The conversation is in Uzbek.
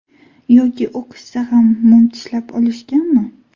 Yoki o‘qishsa ham mum tishlab olishganmi?